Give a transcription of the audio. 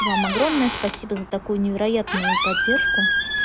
вам огромное спасибо за такую невероятную поддержку